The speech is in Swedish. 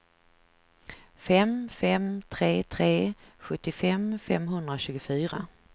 fem fem tre tre sjuttiofem femhundratjugofyra